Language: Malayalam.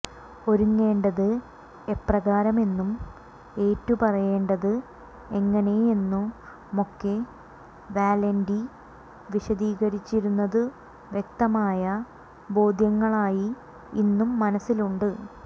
ഒരുങ്ങേണ്ടത് എപ്രകാരമെന്നും ഏറ്റുപറയേണ്ടത് എങ്ങനെയെന്നുമൊക്കെ വല്യാന്റി വിശദീകരിച്ചിരുന്നതു വ്യക്തമായ ബോദ്ധ്യങ്ങളായി ഇന്നും മനസ്സിലുണ്ട്